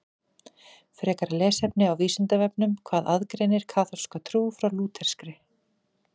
Frekara lesefni á Vísindavefnum Hvað aðgreinir kaþólska trú frá lúterskri?